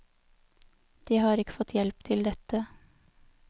De har ikke fått hjelp til dette.